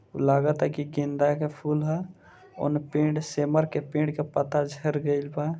लागता कि गेंदा के फूल ह उने पेड़ सिमर के पेड़ के पत्ता झेड़ गेल बा।